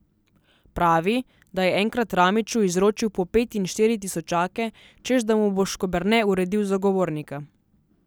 Pravi, da je enkrat Ramiću izročil po pet in štiri tisočake, češ da mu bo Škoberne uredil zagovornika.